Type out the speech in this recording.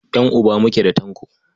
Ƴan'uba muke da Tanko.